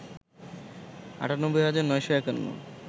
৯৮ হাজার ৯৫১